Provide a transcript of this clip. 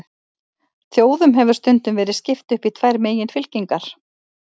Þjóðum hefur stundum verið skipt upp í tvær meginfylkingar.